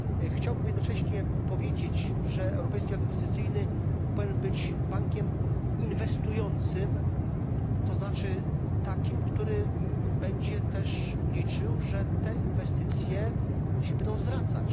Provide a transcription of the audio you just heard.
Chciałbym jednocześnie powiedzieć, że Europejski Bank Inwestycyjny powinien być bankiem inwestującym, to znaczy takim, który będzie też liczył, że te inwestycje się będą zwracać.